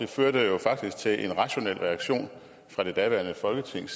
førte jo faktisk til en rationel reaktion fra det daværende folketing